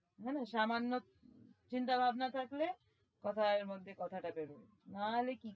জানিস আমার না চিন্তা ভাবনা থাকলে কথার মধ্যে কথাটা বেরই